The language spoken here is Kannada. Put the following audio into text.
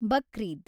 ಬಕ್ರಿದ್